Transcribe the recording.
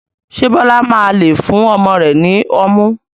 Ṣé Bọlá máa lé fún ọmọ rẹ ni ọmú?